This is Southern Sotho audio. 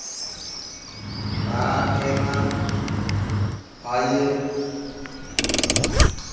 ba a phema ba ye